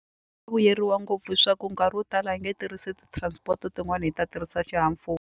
Vuyeriwa ngopfu hi swa ku nkarhi wo tala hi nge tirhisi ti-transport-o tin'wani hi ta tirhisa xihahampfhuka.